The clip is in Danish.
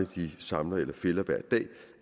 de samler eller fælder hver dag